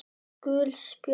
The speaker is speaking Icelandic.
Gul spjöld